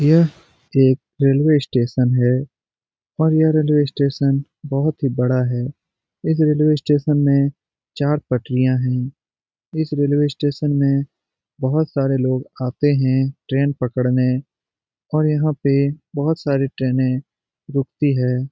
यह एक railway station है और यह रेलवे स्टेशन बहुत ही बड़ा है। इस रेलवे स्टेशन में चार पटरिया है। इस रेलवे स्टेशन में बहुत सारे लोग आते हैं ट्रेन पकड़ने और यहां पर बहुत सारे ट्रेने रूकती है।